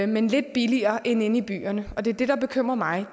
men lidt billigere end inde i byerne og det er det der bekymrer mig